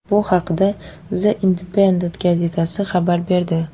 Bu haqda The Independent gazetasi xabar berdi .